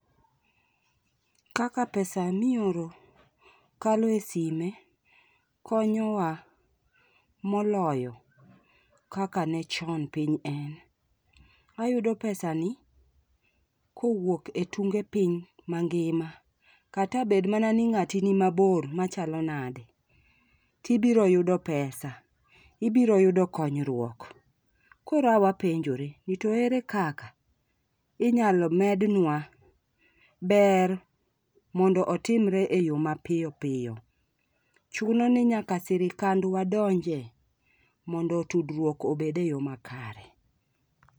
Kaka pesa mioro kalo e sime konyowa moloyo kaka ne chon piny en. Ayudo pesani kowuok e tunge piny mangima kata bed mana ni ngati ni mabor machalo nade tibiro yudo ]cs]pesa, ibiro yudo konyruok. Koro e wapenjore ni ere kaka inyalo medwa ber mondo otimre e yoo ma piyo piyo. Chuno ni nyaka sirkandwa donje mondo tudruok obede yoo makare.